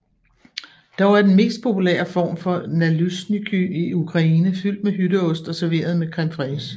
Dog er den mest populære form for nalysnyky i Ukraine fyldt med hytteost og serveret med creme fraiche